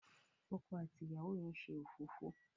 ọkọ àti ìyàwó yén ṣe òfófó.